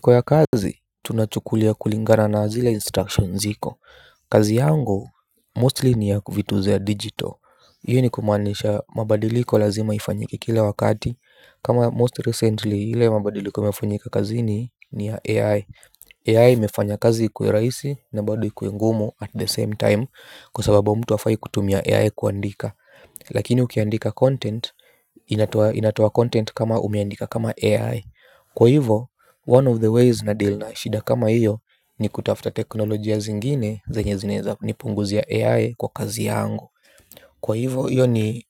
Kwa ya kazi tunachukulia kulingana na zile instructions ziko kazi yangu mostly ni ya ku vitu za ya digital hiyo ni kumaanisha mabadiliko lazima ifanyike kila wakati kama most recently hile mabadiliko imefanyika kazini ni ya AI AI imefanya kazi ikuwe rahisi na bado ikue ngumu at the same time kwa sababu mtu hafai kutumia AI kuandika. Lakini ukiandika content, inatoa inatoa content kama umeandika kama AI. Kwa hivo, one of the ways na deal na shida kama hiyo ni kutafuta teknolojia zingine zenye zinaweza nipunguzia AI kwa kazi yangu. Kwa hivo, hiyo ni